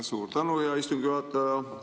Suur tänu, hea istungi juhataja!